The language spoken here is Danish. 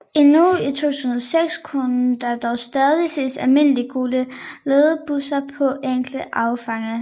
Endnu i 2006 kunne der dog stadig ses almindelige gule ledbusser på enkelte afgange